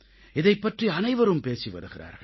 இதைப் பற்றி அனைவரும் பேசி வருகிறார்கள்